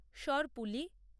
সরপুলি